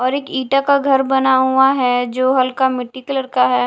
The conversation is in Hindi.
और एक ईटा का घर बना हुआ है जो हल्का मिट्टी कलर का है।